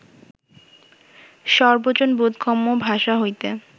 সর্বজন-বোধগম্য ভাষা হইতে